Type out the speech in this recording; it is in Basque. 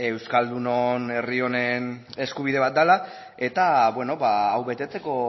euskaldunon herri honen eskubide bat dela eta hau betetzeko